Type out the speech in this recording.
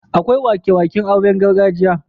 Akwai wake-waken auren gargajiya.